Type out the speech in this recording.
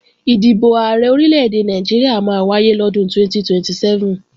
Ìdìbò Ààrẹ Orílè-èdè Nàìjíríà máa wáyé lọ́dún 2027